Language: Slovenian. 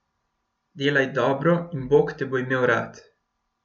Delaj dobro in bog te bo imel rad.